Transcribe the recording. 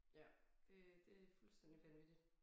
Ja det det fuldstændig vanvittigt